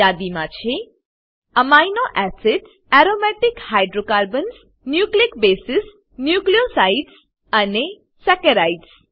યાદી મા છે amino acids aromatic hydrocarbons nucleic base nucleosides અને સેકરાઇડ્સ